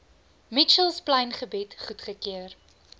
mitchells plaingebied goedgekeur